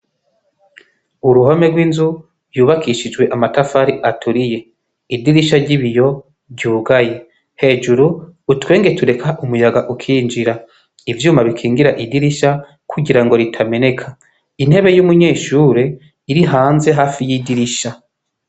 Uruhome rw' inzu y' ubakishijw' amatafar' aturiye, idirisha ry' ibiyo ry' ugaye hejuru har' utwenge turek' umuyag' ukinjira, ivyuma bikingir' idirisha kugira ritameneka, intebe y' umunyeshur' irihanze hafi y'idirisha.